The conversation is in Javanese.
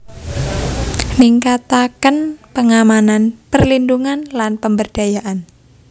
Ningkataken pengamanan perlindhungan lan pemberdayaan